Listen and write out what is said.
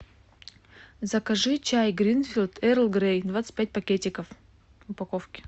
закажи чай гринфилд эрл грей двадцать пять пакетиков в упаковке